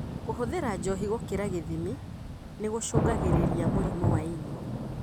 Kũhũthira njohi gũkĩra gĩthimi nĩgũcũngagĩrĩria mũrimũ wa ini.